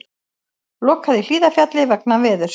Lokað í Hlíðarfjalli vegna veðurs